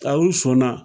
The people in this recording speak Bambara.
A u sɔn na